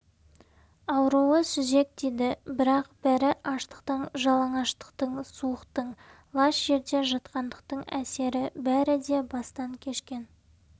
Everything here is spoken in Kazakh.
ауруы сүзек дейді бірақ бәрі аштықтың жалаңаштықтың суықтың лас жерде жатқандықтың әсері бәрі де бастан кешкен